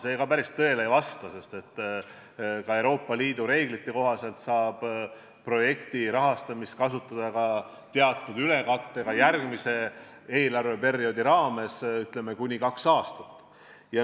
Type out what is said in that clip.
See päris tõele ei vasta, sest Euroopa Liidu reeglite kohaselt saab projekti jaoks antud raha kasutada teatud ülekattega ka järgmise eelarveperioodi raames, kuni kaks aastat.